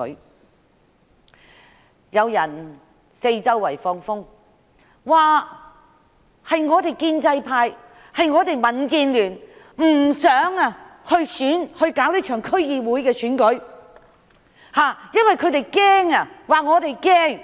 現時卻有人四處放風，指建制派、民建聯不想如期舉行這次區議會選舉，說由於我們害怕，